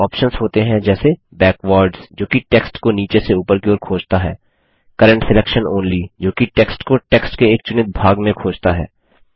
इसमें ऑप्शन्स होते हैं जैसे बैकवार्ड्स जोकि टेक्स्ट को नीचे से ऊपर की ओर खोजता है करेंट सिलेक्शन ओनली जोकि टेक्स्ट को टेक्स्ट के एक चुनित भाग में खोजता है